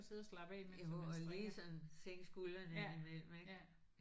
Jo og lige sådan sænke skuldrene ind imellem ikk